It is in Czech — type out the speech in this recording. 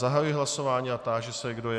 Zahajuji hlasování a táži se, kdo je...